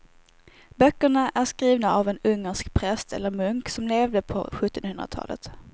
Böckerna är skrivna av en ungersk präst eller munk som levde på sjuttonhundratalet.